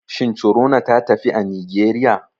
Shin corona ta tafi a nigeriya?